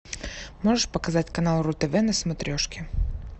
можешь показать канал ру тв на смотрешке